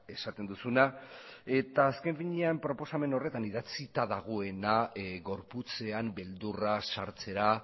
esaten duzuna eta azken finean proposamen horretan idatzita dagoena gorputzean beldurra sartzera